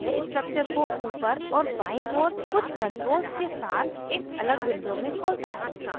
यह structure को ऊपर और बाईं ओर कुछ controls के साथ एक अलग window में खोलता है